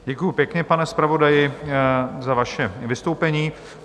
Děkuji pěkně, pane zpravodaji, za vaše vystoupení.